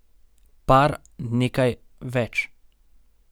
Par, nekaj, več.